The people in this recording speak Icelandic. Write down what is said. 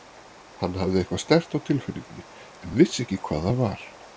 Hann hafði eitthvað sterkt á tilfinningunni en vissi ekki hvað það var.